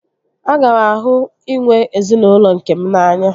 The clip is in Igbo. Aga m ahụ inwe ezinaụlọ nkem n'anya